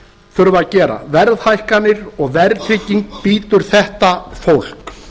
þurfa að gera verðhækkanir og verðtrygging bítur þetta fólk